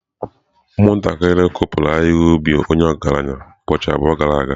Ụmụntakịrị kụpụrụ ahihia ubi onye ọgaranya ubọchi abụọ gara aga.